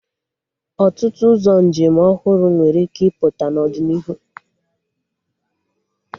Ọtụtụ ụzọ njem ọhụrụ nwere ike ịpụta n'ọdịnihu